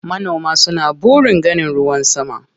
Manoma suna burin ganin ruwan sama.